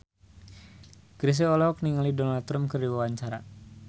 Chrisye olohok ningali Donald Trump keur diwawancara